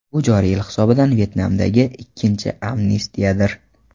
Bu joriy yil hisobidan Vyetnamdagi ikkinchi amnistiyadir.